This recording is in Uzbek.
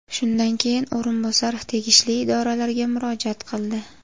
Shundan keyin o‘rinbosar tegishli idoralarga murojaat qildi.